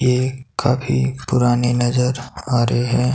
ये काफी पुराने नजर आ रहे हैं।